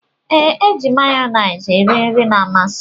Ee, iji mayones eri nri na-amasi m.